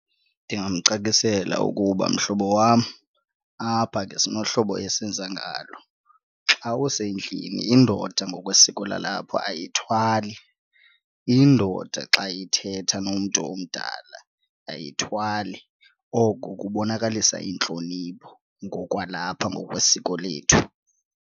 Ndingamcacisela ukuba mhlobo wam apha ke sinohlobo esenza ngalo. Xa usendlini indoda ngokwesiko lalapho ayithwali. Indoda xa ithetha nomntu omdala ayithwali, oku kubonakalisa intlonipho ngokwalapha ngokwesiko lethu.